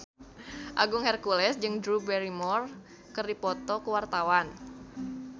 Agung Hercules jeung Drew Barrymore keur dipoto ku wartawan